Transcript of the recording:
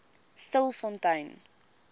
stilfontein